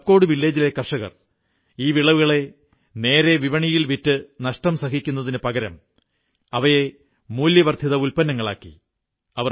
എന്നാൽ കപ്കോട് ഗ്രാമത്തിലെ കർഷകർ ഈ വിളവുകളെ നേരെ വിപണിയിൽ വിറ്റ് നഷ്ടം സഹിക്കുന്നതിനു പകരം അവയെ മൂല്യവർധിത ഉത്പന്നങ്ങളാക്കി